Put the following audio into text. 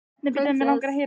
Tveir stjórar reknir í dag